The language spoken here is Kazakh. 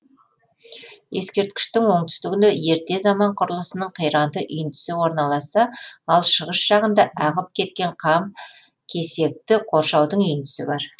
ескерткіштің оңтүстігінде ерте заман құрылысының қиранды үйіндісі орналасса ал шығыс жағында ағып кеткен қам кесекті қоршаудың үйіндісі бар